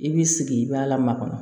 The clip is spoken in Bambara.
I b'i sigi i b'a lamaga kɔnɔ